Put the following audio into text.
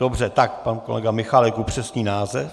Dobře, tak pan kolega Michálek upřesní název.